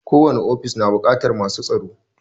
Ko wani ofis na buƙatar masu tsaro